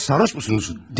Yoxsa sarhoşsunuzmu?